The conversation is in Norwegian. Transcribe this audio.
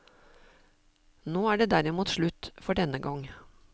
Nå er det derimot slutt, for denne gang.